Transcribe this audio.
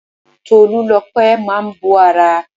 Tolúlopẹ́ máa bó ara.